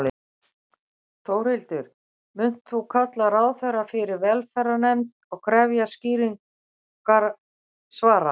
Þórhildur: Munt þú kalla ráðherra fyrir velferðarnefnd og krefjast skýrari svara?